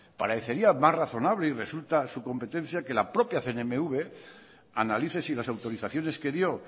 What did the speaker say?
parecería más razonable y resulta su competencia que la propia cnmv analice si las autorizaciones que dio